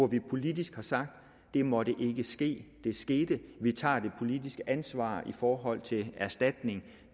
vi politisk sagt det måtte ikke ske det skete vi tager det politiske ansvar i forhold til erstatning